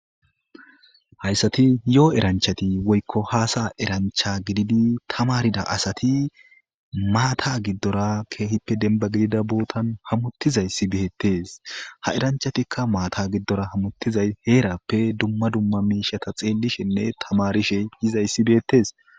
Hayssathi yo7o eranchchathi woykko haasayaa eranchcha gididi thamaarida asathi maathaa giddora keehippe denbba gidida boothan hamuththizayssi beeththes; ha eranchchathikka maathaa giddora hamuththizay heeraappe dumma dumma miishatha xeellishenne thamaarishe yizayssi beeththees.